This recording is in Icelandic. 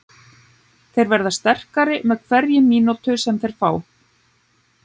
Þeir verða sterkari með hverri mínútu sem þeir fá.